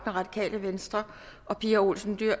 og pia olsen dyhr